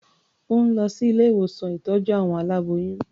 Ó ń lọ sí ilé-ìwòsán ìtọ́jú àwọn aláboyún.